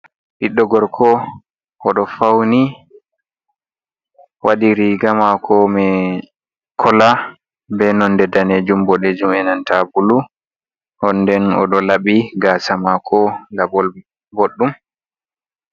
Ɓiɗɗo gorko odo fauni waɗi riga mako mi kola be nonde danejum, boɗejum, enanta bulu, onden oɗo labbi gasa mako labol ɓoɗɗum.